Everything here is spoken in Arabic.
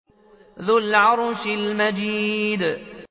ذُو الْعَرْشِ الْمَجِيدُ